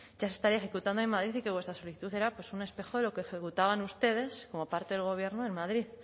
ya se estaría ejecutando en madrid y que vuestra solicitud era pues un espejo de lo que ejecutaban ustedes como parte del gobierno en madrid